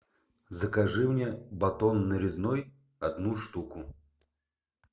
закажи мне батон нарезной одну штуку